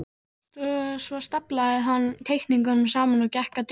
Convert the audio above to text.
Svo staflaði hann teikningunum saman og gekk að dyrunum.